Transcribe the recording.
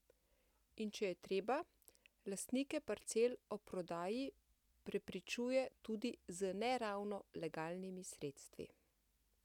In če je treba, lastnike parcel o prodaji prepričuje tudi z ne ravno legalnimi sredstvi.